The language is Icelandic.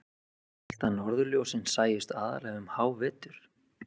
. ég hélt að norðurljósin sæjust aðallega um hávetur.